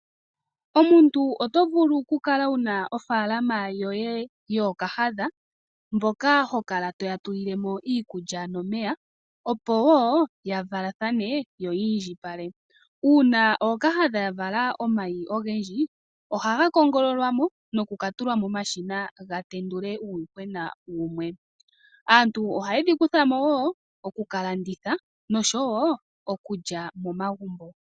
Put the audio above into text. Omuntu oto vulu okukala wu na ofalaama yoye yookahadha, mboka ho kala to ya tulile mo iikulya nomeya, opo wo ya valathane yo yi indjipale. Uuna ookahadha ya vala omayi ogendji ohaga kongololwa mo noku ka tulwa momashina ga tendule uuyuhwena wumwe. Aantu ohaye dhi kutha mo wo opo ya ka landithe nosho wo okulya momagumbo.